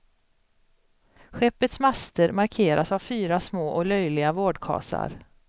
Skeppets master markeras av fyra små och löjliga vårdkasar.